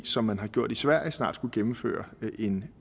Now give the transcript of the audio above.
som man har gjort i sverige måske snart skulle gennemføre en